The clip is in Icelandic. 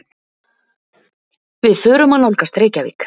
Við förum að nálgast Reykjavík.